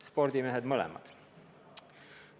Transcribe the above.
Nad mõlemad on ka spordimehed.